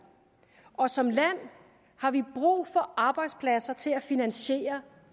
og som land har vi brug for arbejdspladser til at finansiere